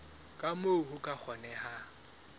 ka moo ho ka kgonehang